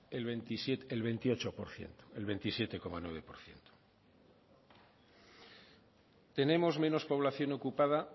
el veintiocho por ciento el veintisiete coma nueve por ciento tenemos menos población ocupada